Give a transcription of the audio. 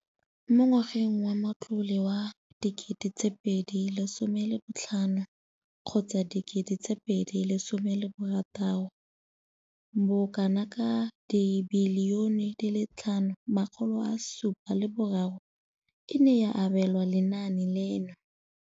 Mo ngwageng wa matlole wa 2015,16, bokanaka R5 703 bilione e ne ya abelwa lenaane leno.